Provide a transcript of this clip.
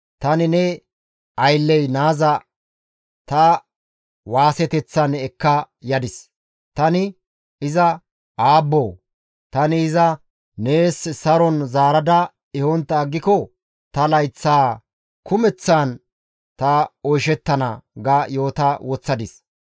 Tani ne aylley naaza ta waaseteththan ekka yadis; tani iza, ‹Aabboo, tani iza nees saron zaarada ehontta aggiko ta layththa kumeththan ta oyshettana!› ga yoota woththadis.